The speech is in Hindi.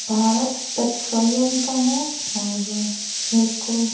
भारत पेट्रोलियम का है और एक --